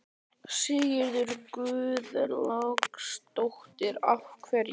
Sigríður Guðlaugsdóttir: Af hverju?